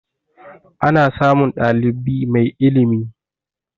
Ana samun ɗalibi mai ilimi